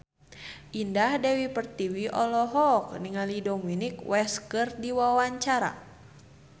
Indah Dewi Pertiwi olohok ningali Dominic West keur diwawancara